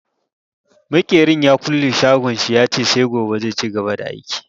Makerin ya kulle shagon shi, ya ce sai gobe zai cigaba da aiki.